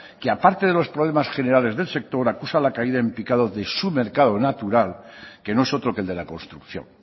que aparte de los problemas generales del sector acusa la caída en picado de su mercado natural que no es otro que el de la construcción